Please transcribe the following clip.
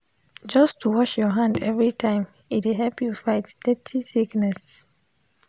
just to wash your hand everytime e dey help you fight dirty sickness